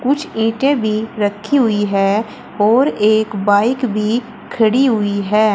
कुछ ईंटे भी रखी हुई है और एक बाइक भी खड़ी हुई है।